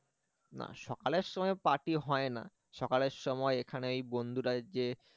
না সকালের সময় party হয় না। সকালের সময় এখানে ওই বন্ধুরা যে